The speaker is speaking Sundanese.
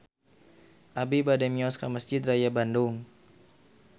Abi bade mios ka Mesjid Raya Bandung